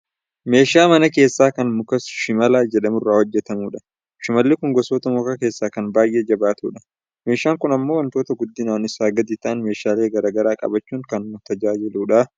Meeshaa mana keeshaa kan muka shimala jedhamurraa hojjatamudha. Shimalli kun gosoota mukaa keessaa kan baayyee jabaatudha. Meeshan kun ammoo wantoota guddinaan isaa gadi ta'an meeshaalee gara garaa qabachuun kan nu tajaajiludha.